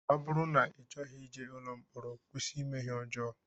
Ọ bụrụ na I chọghị ije ụlọ mkpọrọ kwụsị ime ihe ọjọọ